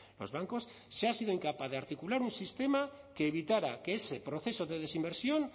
los bancos se ha sido incapaz de articular un sistema que evitara que ese proceso de desinversión